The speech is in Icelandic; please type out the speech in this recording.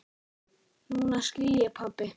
Núna skil ég, pabbi.